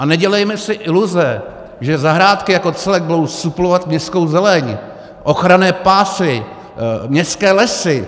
A nedělejme si iluze, že zahrádky jako celek budou suplovat městskou zeleň, ochranné pásy, městské lesy.